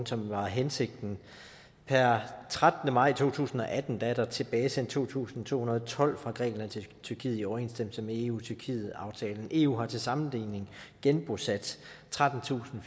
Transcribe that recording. som var hensigten per trettende maj to tusind og atten er der tilbagesendt to tusind to hundrede og tolv fra grækenland til tyrkiet i overensstemmelse med eu tyrkiet aftalen eu har til sammenligning genbosat trettentusinde